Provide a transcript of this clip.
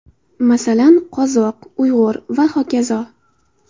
Masalan, qozoq, uyg‘ur va hokazo.